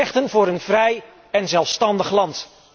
Vechten voor een vrij een zelfstandig land.